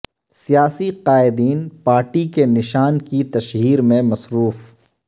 سیاسی قائدین پارٹی کے نشان کی تشہیر میں مصروف